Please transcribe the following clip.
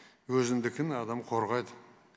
өзіндікін адам қорғайды